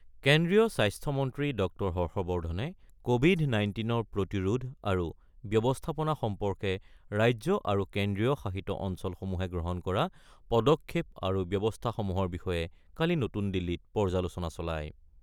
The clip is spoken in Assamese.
কেন্দ্ৰীয় স্বাস্থ্য মন্ত্ৰী ড হৰ্ষবৰ্ধণে ক'ভিড-নাইনটিনৰ প্ৰতিৰোধ আৰু ব্যৱস্থাপনা সম্পৰ্কে ৰাজ্য আৰু কেন্দ্ৰীয় শাসিত অঞ্চলসমূহে গ্ৰহণ কৰা পদক্ষেপ আৰু ব্যৱস্থাসমূহৰ বিষয়ে কালি নতুন দিল্লীত পৰ্যালোচনা চলায়।